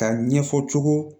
Ka ɲɛfɔ cogo